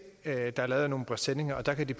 der er lavet af nogle presenninger og der kan de